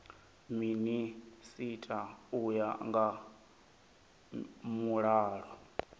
minisita u ya nga mulayo